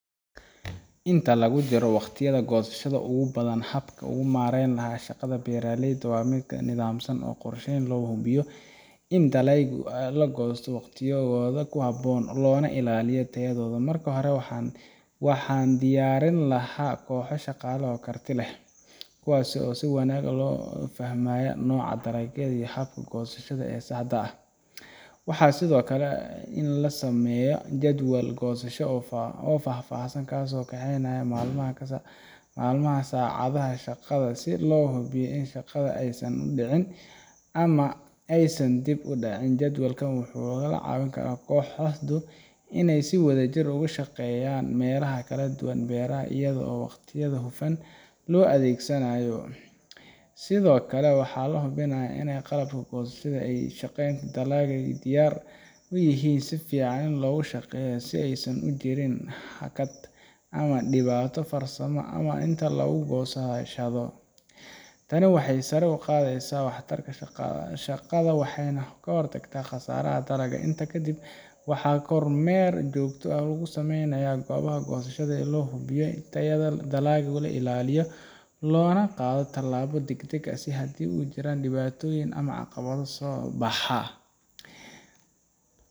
Inta lagu jiro wakhtiyada goosashada ugu badan, habka aan u maareyn lahaa shaqada beeraleyda waa mid nidaamsan oo qorshaysan si loo hubiyo in dalagyada la goosto waqtigooda ku habboon loona ilaaliyo tayadooda. Marka hore, waxaan diyaarin lahaa koox shaqaale oo karti leh, kuwaas oo si wanaagsan u fahmaya nooca dalagga iyo habka goosashada ee saxda ah. Waxaa muhiim ah in la sameeyo jadwal goosasho oo faahfaahsan, kaas oo qeexaya maalmaha iyo saacadaha shaqada, si aan u hubiyo in shaqada aysan isku dhicin ama aysan dib u dhacin. Jadwalkan wuxuu ka caawinayaa kooxdu inay si wadajir ah uga shaqeeyaan meelaha kala duwan ee beeraha iyadoo waqtiga si hufan loo adeegsanayo. Sidoo kale, waxaan hubinayaa in qalabka goosashada iyo ka shaqeynta dalagga ay diyaar yihiin oo si fiican u shaqeynayaan, si aysan u jirin hakad ama dhibaato farsamo inta lagu jiro goosashada. Tani waxay sare u qaadaysaa waxtarka shaqada waxayna ka hortagtaa khasaaraha dalagga. Intaa kadib, waxaan kormeer joogto ah ku sameynayaa goobaha goosashada si loo hubiyo in tayada dalagga la ilaaliyo loona qaado tallaabo degdeg ah haddii ay jiraan dhibaatooyin ama caqabado soo baxa.